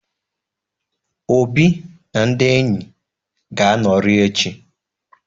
Obi na ndị enyi ga-anọrị echi.